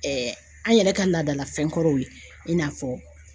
Ɛɛ an yɛrɛ ka laadalafɛn kɔrɔw ye i n'a fɔ